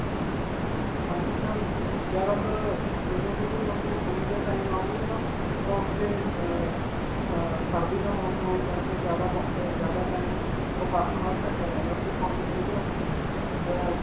ਹਾਂਜੀ sir. ਜਿਆਦਾ ਤਰ ਜਦੋਂ ਤੁਸੀਂ ਮਤਲਬ ਹੁਣ ਦੇ time ਆਓਗੇ ਨਾ, ਤਾਂ ਉਥੇ ਅਅ ਅਅ ਸਸ ਸਰਦੀ ਦਾ ਮੌਸਮ ਹੋਣ ਕਰਕੇ ਜਿਆਦਾ ਬਬ ਜਿਆਦਾ time ਉਹ ਬਰਫਾਂ ਨਾਲ ਢਕਿਆ ਰਹਿੰਦਾ ਹੈ 'ਤੇ ਤੁਹਾਨੂੰ ਜਿਹੜੀਆਂ ਉਥੇ ਅਅ